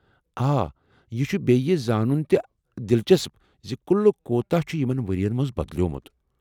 آ۔ یہ چُھ ۔ بیٚیہ یہِ زانُن تہِ دلچسپ زِ قلعہ کوتاہ چھ یمن ؤرین منٛز بدلیومُت۔